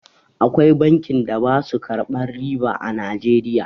Akwai bankin da basu karɓan riba a Nijeriya